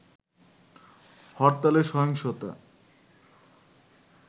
হরতালে সহিংসতা